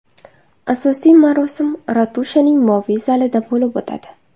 Asosiy marosim ratushaning moviy zalida bo‘lib o‘tadi.